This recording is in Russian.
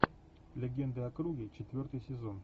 легенда о круге четвертый сезон